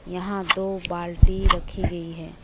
यहां दो बाल्टी रखी गई है।